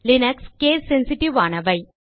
Linux case sensitive ஆனவை